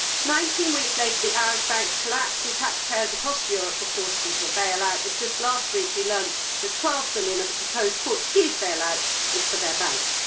Nineteen weeks later, the Irish banks collapsed and taxpayers across Europe were forced into a bail out, and just last week we learnt that EUR 12 billion of the proposed Portuguese bail out is for their banks.